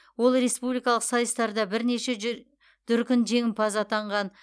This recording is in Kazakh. ол республикалық сайыстарда бірнеше жү дүркін жеңімпаз атанған